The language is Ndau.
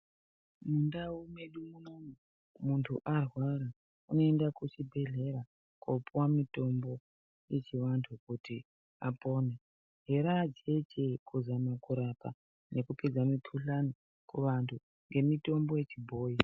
Mundau medu muntu arwara unoenda kuchibhedhlera koopuhwa mitombo yechivantu kuti apore. Ere akhiti kuzame kurape nekupedze mikhuhlani kuantu ngemitombo yechibhoyi.